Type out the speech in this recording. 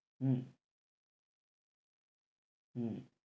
হম হম